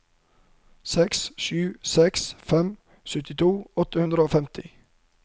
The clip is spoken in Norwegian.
seks sju seks fem syttito åtte hundre og femti